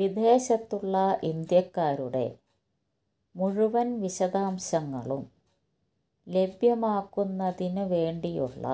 വിദേശത്തുള്ള ഇന്ത്യക്കാരുടെ മുഴുവൻ വിഷാദശാംശങ്ങളും ലഭ്യമാക്കുന്നതിന് വേണ്ടിയുള്ള